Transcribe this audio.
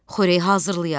xörək hazırlayaq.